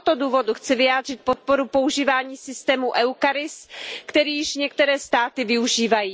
Z tohoto důvodu chci vyjádřit podporu používání systému EUCARIS, který již některé státy využívají.